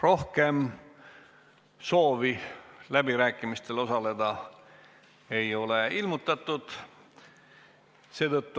Rohkem soovi läbirääkimistel osaleda ei ole ilmutatud.